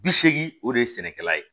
Bi seegin o de ye sɛnɛkɛla ye